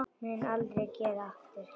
Mun aldrei gera aftur.